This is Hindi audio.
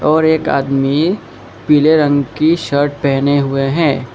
और एक आदमी पीले रंग की शर्ट पहने हुए हैं।